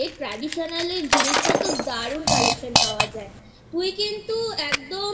Traditional এর জিনিসপত্র দারুন Collectionপাওয়া যায় তুই কিন্তু একদম